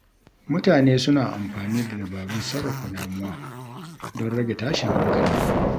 Mutane suna amfani da dabarun sarrafa damuwa don rage tashin hankali.